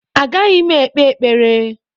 Agaghị m ekpe ekpere